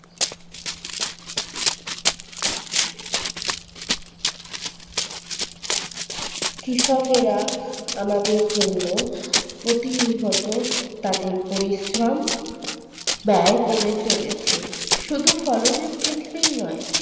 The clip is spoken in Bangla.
কৃষকেরা আমাদের জন্য প্রতিনিহত তাদের পরিশ্রম ব্যয় করে চলেছে। শুধু ফলনের ক্ষেত্রেই নয়।